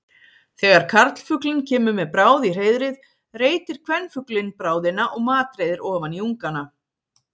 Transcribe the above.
Þegar karlfuglinn kemur með bráð í hreiðrið reitir kvenfuglinn bráðina og matreiðir ofan í ungana.